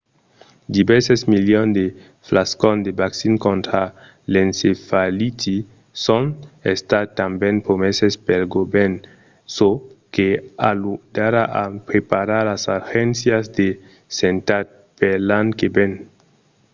divèrses milions de flascons de vaccin contra l'encefaliti son estats tanben promeses pel govèrn çò que ajudarà a preparar las agéncias de santat per l'an que ven